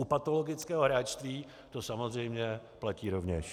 U patologického hráčství to samozřejmě platí rovněž.